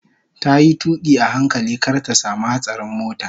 Tayi tuƙi a hankali kar ta samu hatsarin mota